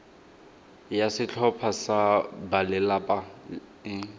ya setlhopha sa balelapa e